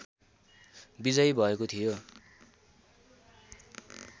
विजयी भएको थियो